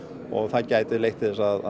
og það gæti leitt til þess að